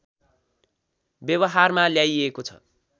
व्यवहारमा ल्याइएको छ